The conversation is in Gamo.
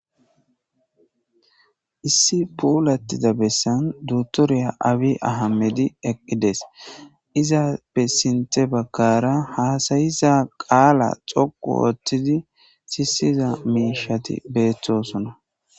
Issi puulattiza bessan dutoriya awi ahamedi eqqides izaa bessinte bakkara haasayiza qaala xoqu ooththidi sisiza miishati beettosona.